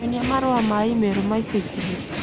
nyonie marũa ma i-mīrū ma ica ikuhĩ